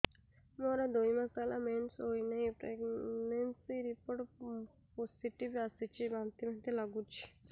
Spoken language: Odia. ମୋର ଦୁଇ ମାସ ହେଲା ମେନ୍ସେସ ହୋଇନାହିଁ ପ୍ରେଗନେନସି ରିପୋର୍ଟ ପୋସିଟିଭ ଆସିଛି ବାନ୍ତି ବାନ୍ତି ଲଗୁଛି